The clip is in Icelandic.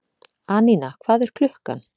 Anína, hvað er klukkan?